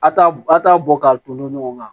A t'a a t'a bɔ k'a ton ɲɔgɔn kan